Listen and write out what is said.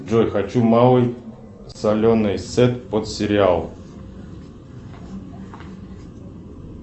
джой хочу малый соленый сет под сериал